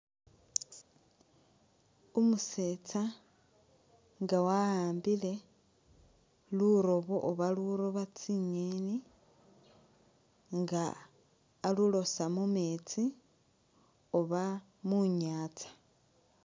Umusetsa nga wa'ambile rurobo oba luloba tsi'ngeni nga alulosa mumetsi oba mu'nyanza